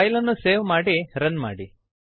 ಫೈಲನ್ನು ಸೇವ್ ಮಾಡಿ ರನ್ ಮಾಡಿ